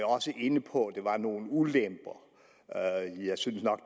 også inde på at der var nogle ulemper og jeg synes nok